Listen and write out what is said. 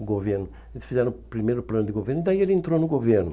o governo Eles fizeram o primeiro plano de governo e daí ele entrou no governo.